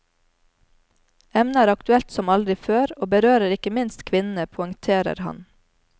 Emnet er aktuelt som aldri før, og berører ikke minst kvinnene, poengterer han.